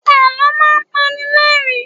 Àlọ́ máa ń pani lẹ́rìn-ín.